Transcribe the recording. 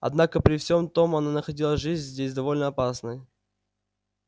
однако при всем том она находила жизнь здесь довольно опасной